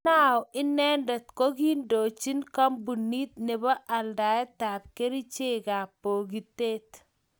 Anao inendet kokiindochin kampunit nebo aldaetab kerichekab bogitet